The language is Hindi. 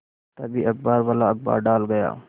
तभी अखबारवाला अखबार डाल गया